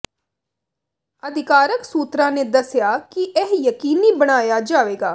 ਅਧਿਕਾਰਕ ਸੂਤਰਾਂ ਨੇ ਦਸਿਆ ਕਿ ਇਹ ਯਕੀਨੀ ਬਣਾਇਆ ਜਾਵੇਗਾ